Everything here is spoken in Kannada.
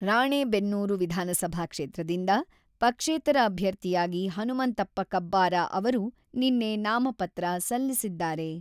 ರಾಣೇಬೆನ್ನೂರು ವಿಧಾನಸಭಾ ಕ್ಷೇತ್ರದಿಂದ ಪಕ್ಷೇತರ ಅಭ್ಯರ್ಥಿಯಾಗಿ ಹನುಮಂತಪ್ಪ ಕಬ್ಬಾರ ಅವರು ನಿನ್ನೆ ನಾಮಪತ್ರ ಸಲ್ಲಿಸಿದ್ದಾರೆ.